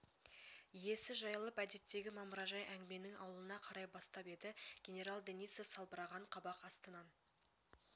иесі жайылып әдеттегі мамыражай әңгіменің ауылына қарай бастап еді генерал денисов салбыраған қабақ астынан